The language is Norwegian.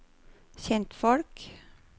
kjentfolk